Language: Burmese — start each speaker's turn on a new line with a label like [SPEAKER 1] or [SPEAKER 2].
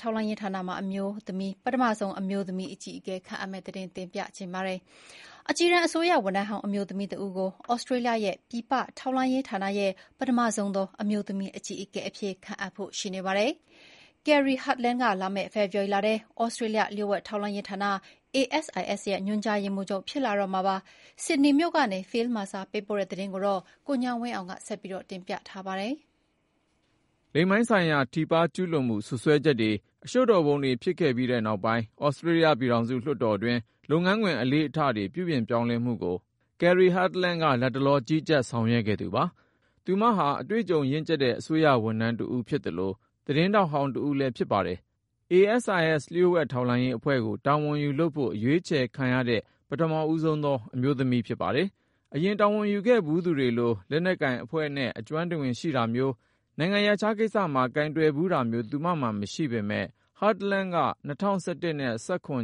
[SPEAKER 1] ထောက်လှမ်းရေး ဌာနရဲ့ ပထမဆုံး အမျိုးသမီး အကြီးအကဲ ခန့်အပ် အကြီးတန်း အစိုးရ ဝန်ထမ်းဟောင်း အမျိုးသမီးတဦးကို သြစတြေးလျရဲ့ ပြည်ပ ထောက်လှမ်းရေးဌာန ရဲ့ ပထမဆုံးသော အမျိုးသမီး အကြီးအကဲ အဖြစ် ခန့်အပ်ဖို့ ရှိနေပါတယ်။ Kerri Hartland က လာမယ့် ဖေဖေါ်ဝါရီလထဲ သြစတြေးလျ လျှို့ဝှက်ထောက်လှမ်းရေးဌာန ASIS ရဲ့ ညွှန်ကြားရေးမှူးချုပ် ဖြစ်လာတော့မှာပါ။ ဆစ်ဒနေမြို့ကနေ Phil Mercer ပေးပို့တဲ့ သတင်းကို ကိုဉာဏ်ဝင်းအောင် တင်ပြထားပါတယ်
[SPEAKER 2] ။ လိင်ပိုင်းဆိုင်ရာ ထိပါး ကျူးလွန်မှု စွပ်စွဲချက်တွေ အရှုပ်တော်ပုံတွေ ဖြစ်ခဲ့ပြီး နောက်ပိုင်း သြစတြေးလျ ပြည်ထောင်စု လွှတ်တော်တွင်း လုပ်ငန်းခွင် အလေ့အထတွေ ပြုပြင်ပြောင်းလဲမှုကို Kerri Hartladn က လတ်တလော ကြီးကြပ်ဆောင်ရွက်ခဲ့သူပါ။ သူမဟာ အတွေ့အကြုံရင့်် အစိုးရ ဝန်ထမ်းတဦး ဖြစ်သလို သတင်းထောက်ဟောင်း တဦးလည်း ဖြစ်ပါတယ်။ ASIS လျှို့ဝှက်ထောက်လှမ်းရေးအဖွဲ့ကို တာဝန်ယူလုပ်ဖို့ အရွေးချယ်ခံရတဲ့ ပထမဦးဆုံးသော အမျိုးသမီး ဖြစ်ပါတယ်။ အရင် တာဝန်ယူခဲ့ဖူးသူတွေလို လက်နက်ကိုင်အဖွဲ့နဲ့ အကျွမ်းတဝင် ရှိတာမျိုး၊ နိုင်ငံရပ်ခြားကိစ္စမှာ ကိုင်တွယ်ဖူးတာမျိုး သူမမှာ မရှိပေမဲ့ ၊ Hartland က ၂၀၁၁ နဲ့ ၂၀၁၇